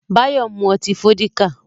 Báyọ̀ ń mú ọtí Fọ́díkà